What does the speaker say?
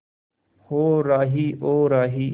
ओ राही ओ राही